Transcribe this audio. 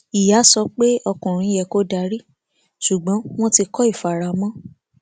ìyá sọ pé ọkùnrin yẹ kó darí ṣùgbọn wọn ti kọ ìfaramọ